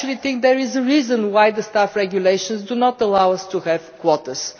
I think there is a reason why the Staff Regulations do not allow us to have quotas